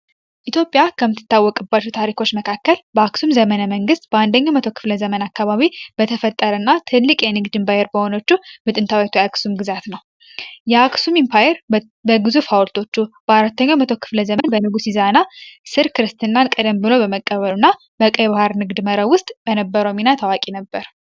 ኢትዮጵያ ከምትታወቅባቹ ታሪኮች መካከል በአክሱም ዘመነ መንግሥት በአንደኛው መቶ ክፍለ ዘመን አካባቢ በተፈጠር እና ትልቅ የንግድ ንባየር በሆኖቹ ምጥንታዊቱ የአክሱም ግዛት ነው። የአክሱም ኢምፓየር በግዙፍ አውልቶቹ በአራተኛው መቶ ክፍለ ዘመን በንጉስ ይዛና ስር ክርስትናን ቀደን ብሎ በመቀበሉ እና በቀይ ባሃር ንግድ መረ ውስጥ በነበረ ሚና ታዋቂ ነበር።